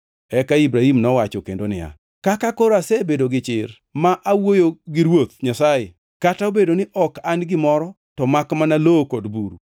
Eka Ibrahim nowacho kendo niya, “Kaka koro asebedo gichir ma awuoyo gi Ruoth Nyasaye, kata obedo ni ok an gimoro to makmana lowo kod buru.